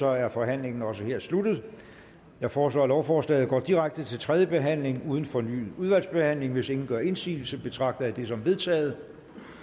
er forhandlingen også her sluttet jeg foreslår at lovforslaget går direkte til tredje behandling uden fornyet udvalgsbehandling hvis ingen gør indsigelse betragter jeg det som vedtaget